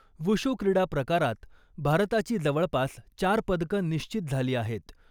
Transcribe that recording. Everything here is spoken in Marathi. वुशू क्रीडा प्रकारात भारताची जवळपास चार पदकं निश्चित झाली आहेत.